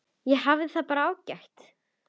Ég hafði það bara ágætt.